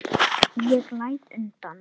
Ég læt undan.